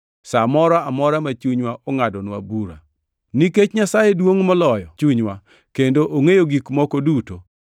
sa moro amora ma chunywa ngʼadonwa bura. Nikech Nyasaye duongʼ moloyo chunywa, kendo ongʼeyo gik moko duto.